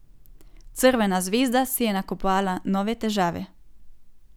Crvena zvezda si je nakopala nove težave.